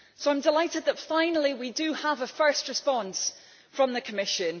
So I am delighted that finally we have a first response from the Commission.